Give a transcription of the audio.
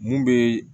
Mun bɛ